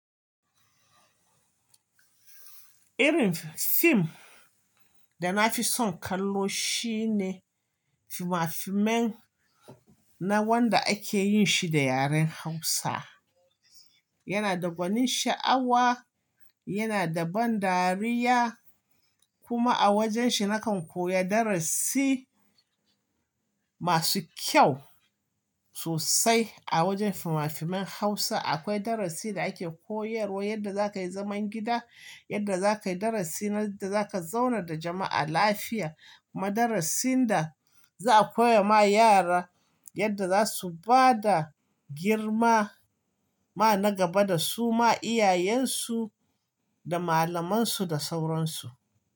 Irin fim da na fi son kallo shi ne fina-finai wanda ake yin shi da yaren Hausa. Yana da gwanin sha'awa, yana da ban dariya kuma a wajen shi na kan koya darasi masu kyau sosai. A wajen fina-finai Hausa akwai darasin da ake koyarwa yadda za ka yi zaman gida, yadda za ka yi darasi, yadda za ka zauna da jama'a lafiya. Madarasin da za a koya ma yara yadda za su bada girma ma na gaba da su ma iyayensu da malamansu da sauransu.